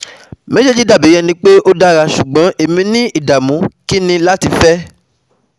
Mejeji dabi ẹni pe o dara ṣugbọn emi ni idamu kini lati fẹ